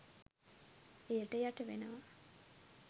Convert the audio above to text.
එයට යටවෙනවා.